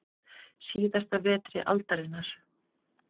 Síðasta vetri aldarinnar.